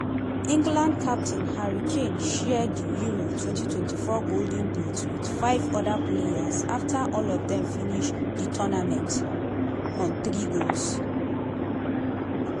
england captain harry kane share di euro twenty twenty four golden boot wit five oda players afta all of dem finish di tournament on three goals.